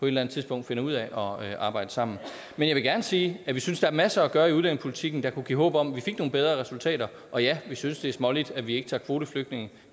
eller andet tidspunkt finder ud af at arbejde sammen men jeg vil gerne sige at vi synes der er masser at gøre i udlændingepolitikken der kunne give håb om at vi fik nogle bedre resultater og ja vi synes det er småligt at vi ikke tager kvoteflygtninge